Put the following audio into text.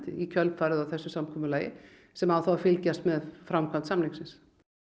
í kjölfarið á þessu samkomulagi sem á þá að fylgjast með framkvæmd samningsins